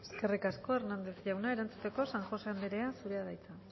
eskerrik asko hernández jauna erantzuteko san josé anderea zurea da hitza